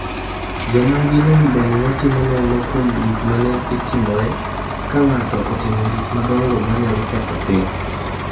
Joma nigi lony bende ne timo nonro kuom gik ma ne dhi timore ka ng’ato otimo gik madongo ma nyalo ketho piny.